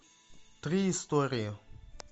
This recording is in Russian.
три истории